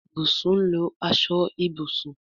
Ibùsùn lọ aṣọ Ibùsùn.